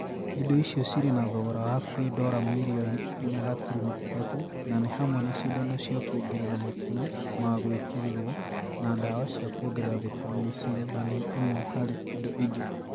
Indo icio cirĩ na thogora wa hakuhĩ dora mirioni inya gaturumo ithatũ na nĩ hamwe nacindano cia kũongerera matina ma gwĩkĩrwo na dawa cia kũongerera vitameni C na nĩ imwe harĩ indo ingĩ